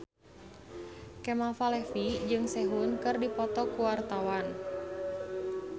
Kemal Palevi jeung Sehun keur dipoto ku wartawan